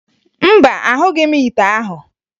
Mba, ahụghị m ite ahụ